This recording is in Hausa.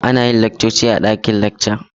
Ana yin laccoci a dakin lacca.